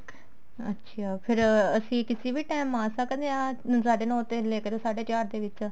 ਅੱਛਿਆ ਫ਼ੇਰ ਅਸੀਂ ਕਿਸੀ ਵੀ time ਆ ਸਕਦੇ ਹਾਂ ਸਾਢੇ ਨੋ ਤੋਂ ਲੇਕੇ ਸਾਢੇ ਚਾਰ ਦੇ ਵਿੱਚ